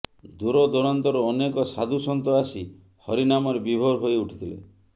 ଦୂରଦୂରାନ୍ତରୁ ଅନେକ ସାଧୁ ସନ୍ଥ ଆସି ହରିନାମରେ ବିଭୋର ହୋଇଉଠିଥିଲେ